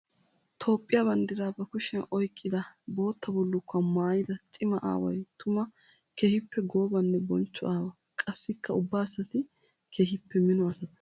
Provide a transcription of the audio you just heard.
Toophphiya banddira ba kushiya oyqqidda bootta bullukkuwa maayidda cimaa aaway tuma keehippe goobanne bochcho aawa. Qassikka ubba asatti keehippe mino asatta.